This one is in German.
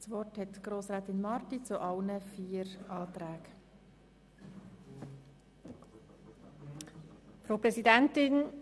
Das Wort hat Grossrätin Marti zu allen vier Anträgen.